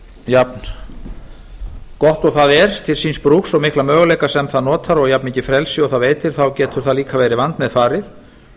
jafn gott og það er til síns brúks og mikla möguleika sem það notar og jafn mikið frelsi og það veitir þá getur það líka verið vandmeðfarið